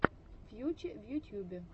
фьюче в ютьюбе